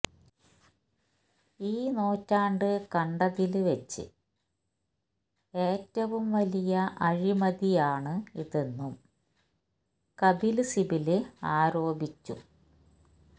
ഈ നൂറ്റാണ്ട് കണ്ടതില് വെച്ച് ഏറ്റവും വലിയ അഴിമതിയാണ് ഇതെന്നും കപില് സിബല് ആരോപിച്ചു